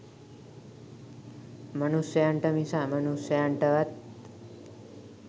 මනුෂයන්ට මිස අමනුෂයන්ටවත්